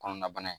Kɔnɔna bana